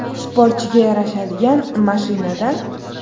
Sportchiga yarashadigan mashina-da.